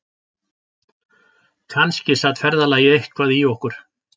Kannski sat ferðalagið eitthvað í okkur